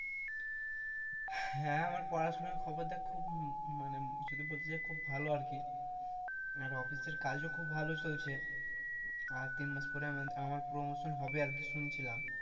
হ্যাঁ আমার পড়াশোনার খবর দেখ খুব মানে যদি বলতে যাই ভালো আরকি, আর office এর কাজও খুব ভালো চলছে আর তিন মাস পরে আমার promotion হবে আরকি শুনছিলাম,